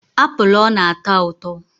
Apụl ọ na-ata ụtọ.